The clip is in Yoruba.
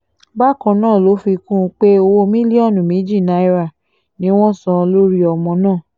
bákan náà ló fi kún un pé owó mílíọ̀nù méjì náírà ni wọ́n san lórí ọmọ náà